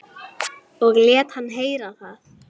Og lét hann heyra það.